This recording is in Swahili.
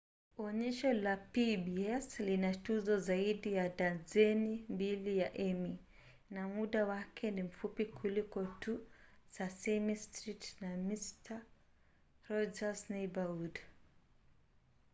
onyesho la pbs lina tuzo zaidi ya dazeni mbili za emmy na muda wake ni mfupi kuliko tu sesame street na mister roger's neighborhood